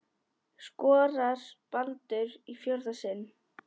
Skorar Baldur í fjórða sinn?